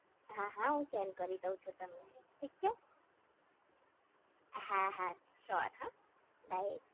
હા હા હું સેન્ડ કરી દઉં છું તમને ઠીક છે હા હા શ્યોર હા બાય